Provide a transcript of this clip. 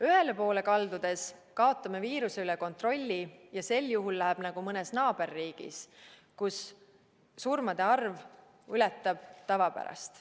Ühele poole kaldudes kaotame viiruse üle kontrolli ja sel juhul läheb nagu mõnes naaberriigis, kus surmade arv ületab tavapärast.